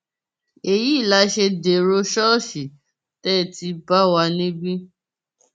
èyí la ṣe dèrò ṣọọṣì tẹ ẹ ti bá wa níbí